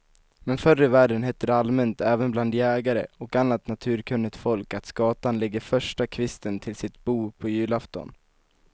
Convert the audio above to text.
Men förr i världen hette det allmänt även bland jägare och annat naturkunnigt folk att skatan lägger första kvisten till sitt bo på julafton.